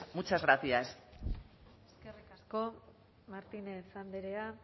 muchas gracias eskerrik asko martínez andrea